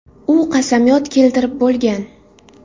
U qasamyod keltirib bo‘lgan.